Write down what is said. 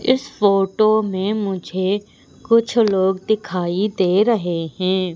इस फोटो में मुझे कुछ लोग दिखाई दे रहे हैं।